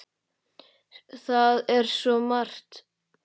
Það er svo margt!